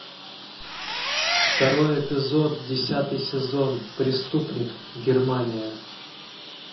второй эпизод десятый сезон преступник германия